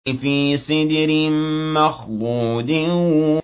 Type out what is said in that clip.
فِي سِدْرٍ مَّخْضُودٍ